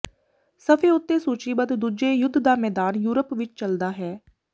ਸਫ਼ੇ ਉੱਤੇ ਸੂਚੀਬੱਧ ਦੂਜੇ ਯੁੱਧ ਦਾ ਮੈਦਾਨ ਯੂਰਪ ਵਿਚ ਚਲਦਾ ਹੈ